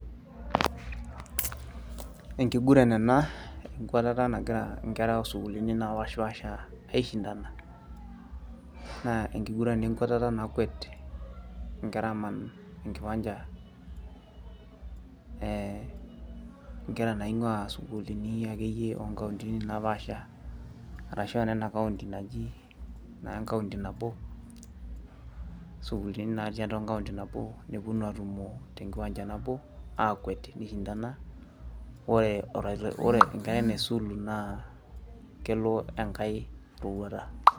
enkiguran ena enkwatata nagira nkera o sukuulini naapashipaasha aishindana, naa enkiguran enkwatata naakwet inkera aaman, enkiwancha nkera nainguaa sukuulini o nkauntini akeyie napaasha. arashu aa nena kaunti naji naa enkaunti nabo sukuulini natii aua enkaunti nabo nepuonu aakwet te nkiwacha aishindana, ore enkerai naisulu naa kelo enkae rorouata.